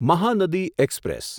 Mahanadi express